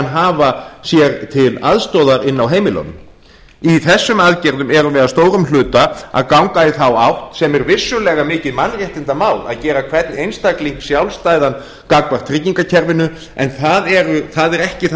hafa sér til aðstoðar inni á heimilunum í þessum aðgerðum erum við að stórum hluta að ganga í þátt átt sem er vissulega mikið mannréttindamál að gera hvern einstakling sjálfstæðan gagnvart tryggingakerfinu en það er ekki það